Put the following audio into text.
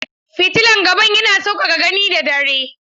Fitilan gaban yana sauƙaƙa gani da dare.